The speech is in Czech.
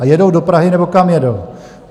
A jedou do Prahy, nebo kam jedou?